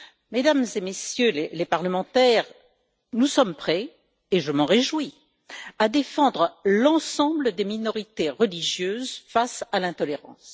Mesdames et Messieurs les parlementaires, nous sommes prêts et je m'en réjouis à défendre l'ensemble des minorités religieuses face à l'intolérance.